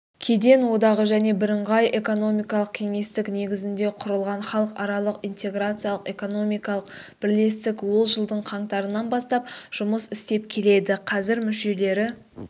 кеден одағы және бірыңғай экономикалық кеңістік негізінде құрылған халықаралық интеграциялық экономикалық бірлестік ол жылдың қаңтарынан бастап жұмыс істеп келеді қазір мүшелері